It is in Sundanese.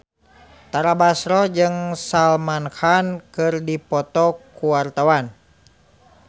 Tara Basro jeung Salman Khan keur dipoto ku wartawan